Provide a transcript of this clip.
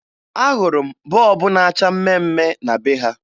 Ahụrụ m bọọbụ na-acha mmemme na be ha